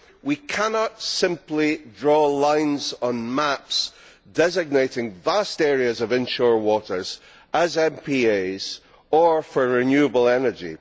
We cannot simply draw lines on maps designating vast areas of inshore waters as MPAs or for renewable energy.